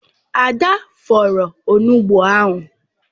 Ada fọọrọ onugbụ ahụ.